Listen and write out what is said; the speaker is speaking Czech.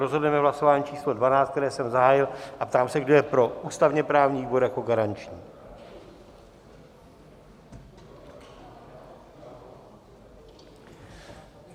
Rozhodneme v hlasování číslo 12, které jsem zahájil, a ptám se, kdo je pro ústavně-právní výbor jako garanční.